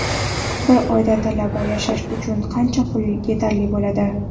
Bir oyda talabaga yashash uchun qancha pul yetarli bo‘ladi?.